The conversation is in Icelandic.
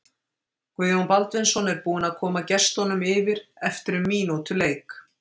Guðjón Baldvinsson er búinn að koma gestunum yfir eftir um mínútu leik!